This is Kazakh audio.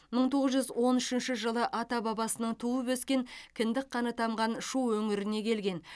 мың тоғыз жүз он үшінші жылы ата бабасының туып өскен кіндік қаны тамған шу өңіріне келген